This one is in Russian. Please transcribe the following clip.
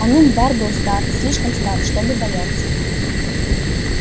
онум бар был стар слишком стар чтобы бояться